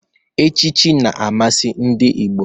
Echichi na-amasị ndị Igbo.